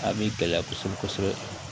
A bi gɛlɛya kosɛbɛ kosɛbɛ